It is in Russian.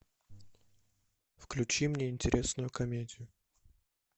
включи мне интересную комедию